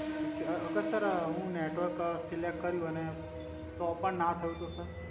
ઠીક છે અગર સર હુ નેટવર્ક સીલેકટ કર્યુ અને તો પણ ના થયુ તો સર